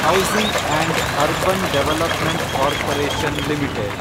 housing and urban development corporation limited